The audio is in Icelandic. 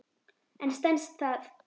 En stenst það?